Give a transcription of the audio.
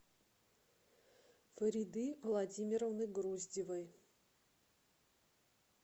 фариды владимировны груздевой